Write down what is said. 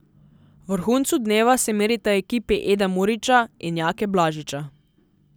V vrhuncu dneva se merita ekipi Eda Murića in Jake Blažiča.